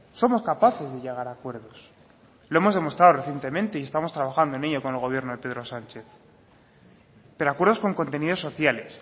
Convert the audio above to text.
somos capaces de llegar a acuerdos lo hemos demostrado recientemente y estamos trabajando en ello con el gobierno de pedro sánchez pero acuerdos con contenidos sociales